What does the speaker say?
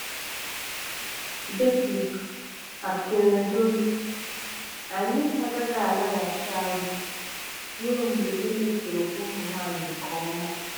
Betty Akeredolu: Anyị agaghị alaghachi azụ ruo mgbe e mesoro ụmụ nwanyị nke ọma